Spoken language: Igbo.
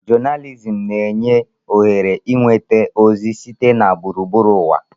Jonalizim na-enye ohere ịnweta ozi sitere na gburugburu ụwa.